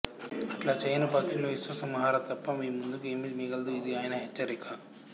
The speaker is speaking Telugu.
అట్లా చేయని పక్షంలో విశ్వ సంహారం తప్ప మీముందు ఏమీ మిగలదు ఇది ఆయన హెచ్చరిక